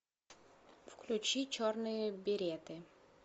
включи черные береты